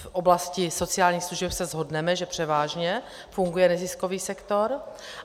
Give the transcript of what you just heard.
V oblasti sociálních služeb se shodneme, že převážně funguje neziskový sektor.